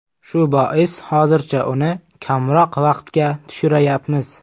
Shu bois hozircha uni kamroq vaqtga tushirayapmiz.